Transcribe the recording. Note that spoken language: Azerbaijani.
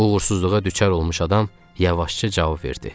Uğursuzluğa düçar olmuş adam yavaşca cavab verdi.